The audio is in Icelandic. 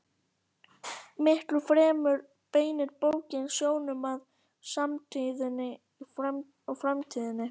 Miklu fremur beinir bókin sjónum að samtíðinni og framtíðinni.